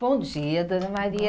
Bom dia, dona Maria.